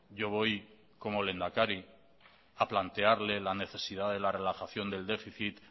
yo voy como lehendakari a plantearle la necesidad de la relajación del déficit